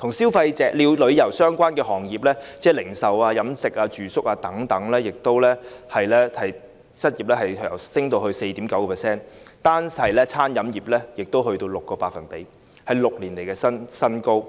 而與旅遊相關的行業，即是零售、飲食、住宿等行業的失業率更上升至 4.9%， 單是餐飲業已達 6%， 是6年以來的新高。